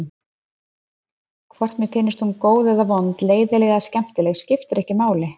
Hvort mér finnst hún góð eða vond, leiðinleg eða skemmtileg skiptir ekki máli.